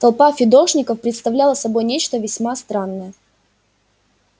толпа фидошников представляла собой нечто весьма странное